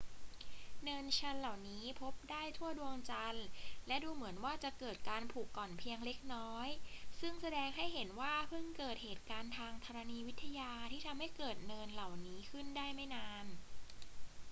เนินชันเหล่านี้พบได้ทั่วดวงจันทร์ และดูเหมือนว่าจะเกิดการผุกร่อนเพียงเล็กน้อย ซึ่งแสดงให้เห็นว่าเพิ่งเกิดเหตุการณ์ทางธรณีวิทยาที่ทำให้เกิดเนินเหล่านี้ขึ้นได้ไม่นาน